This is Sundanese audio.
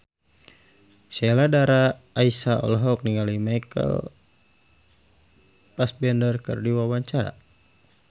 Sheila Dara Aisha olohok ningali Michael Fassbender keur diwawancara